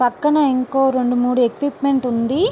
పక్కన ఇంకో రెండు మూడు ఎక్విప్మెంట్ ఉంది--